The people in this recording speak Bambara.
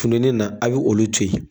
Kun bɛ ne na a y'olu to yen.